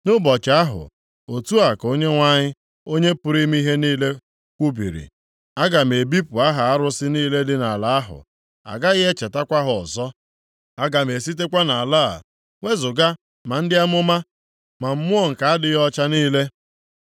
“Nʼụbọchị ahụ, otu a ka Onyenwe anyị, Onye pụrụ ime ihe niile, kwubiri, aga m ebipụ aha arụsị niile dị nʼala ahụ, a gaghị echetakwa ha ọzọ. Aga m esitekwa nʼala a wezuga ma ndị amụma ma mmụọ nke adịghị ọcha niile.